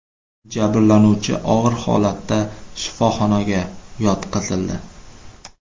Jabrlanuvchi og‘ir holatda shifoxonaga yotqizildi.